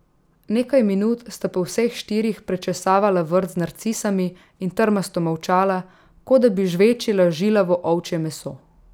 Nekaj minut sta po vseh štirih prečesavala vrt z narcisami in trmasto molčala, kot da bi žvečila žilavo ovčje meso.